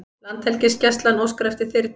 Landhelgisgæslan óskar eftir þyrlu